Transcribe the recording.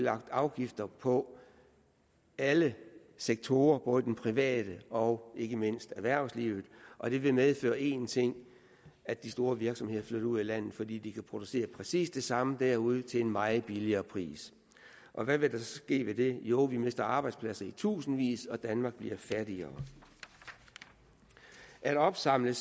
afgifter på alle sektorer både den private og ikke mindst erhvervslivet og det vil medføre en ting at de store virksomheder flytter ud af landet fordi de kan producere præcis det samme derude til en meget lavere pris og hvad vil der så ske ved det jo vi mister arbejdspladser i tusindvis og danmark bliver fattigere at opsamle